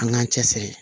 An k'an cɛ siri